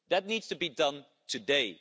That needs to be done today.